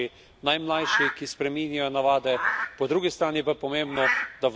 Tu igrajo pomembno vlogo predvsem naši najmlajši, ki spreminjajo navade.